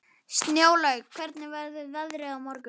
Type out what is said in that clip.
Snjólaug, hvernig verður veðrið á morgun?